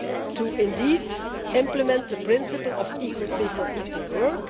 to implement the principle of equal pay for equal work.